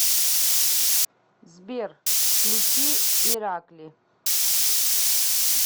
сбер включи иракли